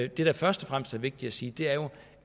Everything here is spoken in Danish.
det der først og fremmest er vigtigt at sige er jo